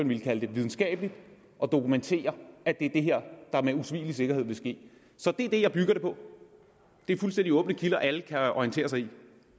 ville kalde videnskabelig og dokumenterer at det er det her der med usvigelig sikkerhed vil ske så det er det jeg bygger det på det er fuldstændig åbne kilder som alle kan orientere sig i